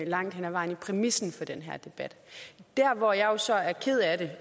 langt hen ad vejen i præmissen for den her debat der hvor jeg jo så er ked af det